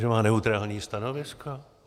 Že má neutrální stanovisko?